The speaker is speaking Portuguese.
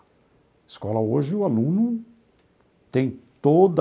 Escola hoje, o aluno tem toda...